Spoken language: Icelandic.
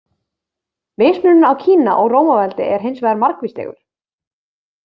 Mismunurinn á Kína og Rómaveldi er hins vegar margvíslegur.